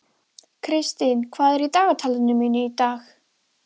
Kristian, hvað er í dagatalinu mínu í dag?